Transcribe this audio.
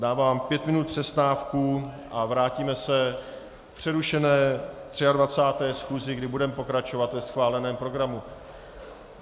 Dávám pět minut přestávku a vrátíme se k přerušené 23. schůzi, kdy budeme pokračovat ve schváleném programu.